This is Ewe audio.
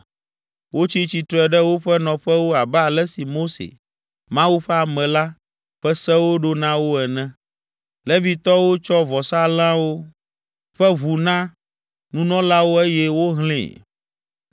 Wotsi tsitre ɖe woƒe nɔƒewo abe ale si Mose, Mawu ƒe ame la, ƒe sewo ɖo na wo ene. Levitɔwo tsɔ vɔsalẽwo ƒe ʋu na nunɔlawo eye wohlẽe.